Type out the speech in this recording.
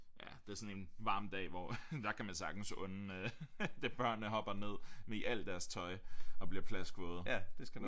Ja det er sådan en varm dag hvor der kan man sagtens unde øh det børnene hopper ned i alt deres tøj og bliver plaskvåde